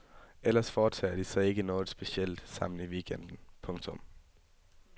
Ellers foretager de sig ikke noget specielt sammen i weekenden. punktum